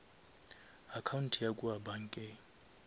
account ya kua bankeng